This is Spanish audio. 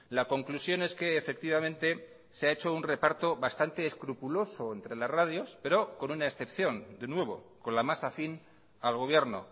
la conclusión es que efectivamente se ha hecho un reparto bastante escrupuloso entre las radios pero con una excepción de nuevo con la más afín al gobierno